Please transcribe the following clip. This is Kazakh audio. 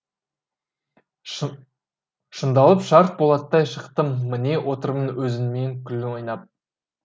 шыңдалып шар болаттай шықтым міне отырмын өзіңменен күліп ойнап